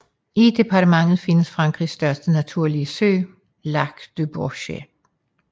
I departementet findes Frankrigs største naturlige sø Lac du Bourget